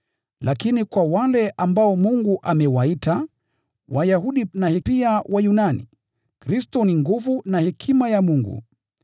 Lakini kwa wale ambao Mungu amewaita, Wayahudi na pia Wayunani, Kristo ndiye nguvu ya Mungu na pia hekima ya Mungu.